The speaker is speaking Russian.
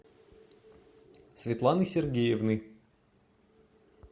светланы сергеевны